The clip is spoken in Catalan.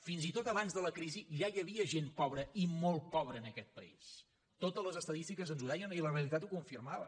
fins i tot abans de la crisi ja hi havia gent pobra i molt pobra en aquest país totes les estadístiques ens ho deien i la realitat ho confirmava